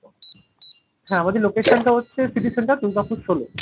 হ্যাঁ আমাদের location টা হচ্ছে city centre দুর্গাপুর ষোলো।